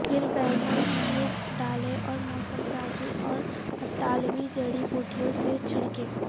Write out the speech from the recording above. پھر بینگن کیوب ڈالیں اور موسم سازی اور اطالوی جڑی بوٹیوں سے چھڑکیں